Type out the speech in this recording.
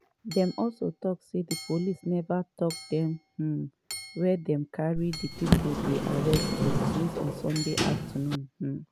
dey also tok say di police neva tok dem um wia dey carry di pipo dey arrest to since sunday afternoon. um